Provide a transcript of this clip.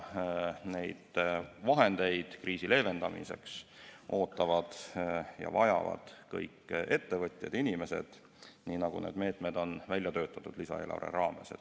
Neid vahendeid kriisi leevendamiseks ootavad ja vajavad kõik ettevõtjad, kõik inimesed, nii nagu need meetmed on lisaeelarve raames välja töötatud.